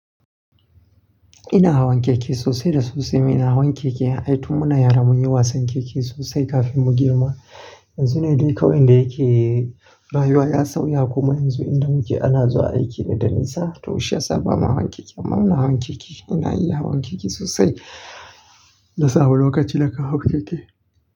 Ina hawan keke sosai da sosai. Ina hawan keke, ai tun muna yara mun yi wasan keke sosai kafin mu girma. Yanzu ne dai kawai inda yake rayuwa ya sauya kuma yanzu inda muke ana zuwa aiki ne da nisa, to shiyasa ba mu hawan keke ba. Amma ina hawan keke, ina iya hawan keke sosai. Na saba da lokaci da kan hau keke.